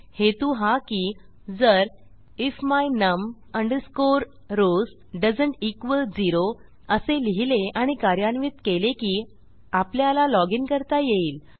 हेतू हा की जर if my num rows doesn't equal zero असे लिहिले आणि कार्यान्वित केले की आपल्याला loginकरता येईल